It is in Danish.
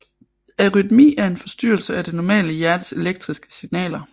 Arytmi er en forstyrrelse af det normale hjertes elektriske signaler